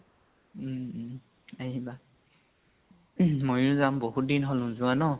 উম উম আহিবা মইয়ো যাম, বাহুত দিন হল নোযোৱা ন?